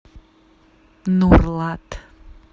нурлат